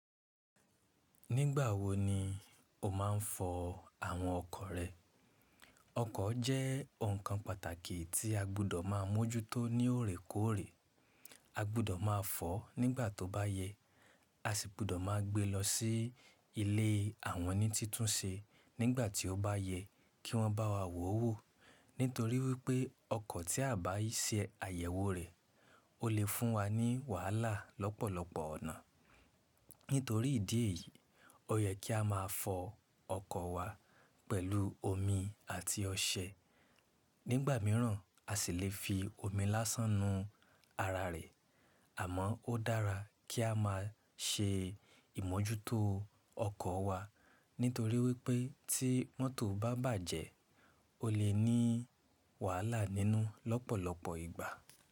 Nígbà wo ni o máa ń fọ àwọn ọkọ̀ rẹ? Ọkọ̀ jẹ́ ǹkan pàtàkì tí a gbọ́dọ̀ máa mójútó ní òrèkóòrè. A gbọ́dọ̀ máa fọ̀ nígbà tóbáyẹ, a sì gbọ́dọ̀ máa gbé lọ sí ilé àwọn oní títúnse nígbà tí ó bá yẹ kí wọ́n bá wa wòwó. Nítorí wípé ọkọ̀ tí a báìṣe àyẹ̀wò rẹ̀ o lè fún wa ní wàhálà lọ́pọ̀lọpọ̀ ọ̀nà. Nítorí ìdí èyí, ó yẹ kí a máa fọ ọkọ̀ wa pẹ̀lú omi àti ọṣẹ. Nígbà míràn a sì lè fi omi lásán nu ara rẹ̀. Àmọ́, ó dára kí a máa ṣe ìmójútó ọkọ̀ wa nítorí wípé tí mọ́tò bá bàjẹ́ o lè ní wàhálà nínú lọ́pọ̀lọpọ̀ ìgbà.